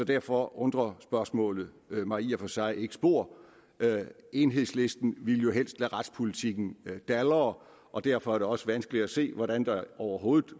derfor undrer spørgsmålet mig i og for sig ikke spor enhedslisten ville jo helst lade retspolitikken dalre og derfor er det også vanskeligt at se hvordan der overhovedet